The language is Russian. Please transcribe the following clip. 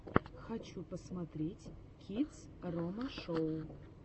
хочу посмотреть кидс рома шоу